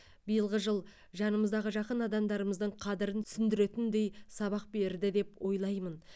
биылғы жыл жанымыздағы жақын адамдарымыздың қадірін түсіндіретіндей сабақ берді деп ойлаймын